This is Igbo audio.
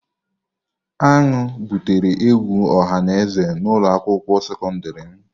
Aṅụ butere egwu ọha na eze na ulo akwukwuo sekọndrị m.